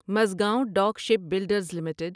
Mazagon dock ship builders limited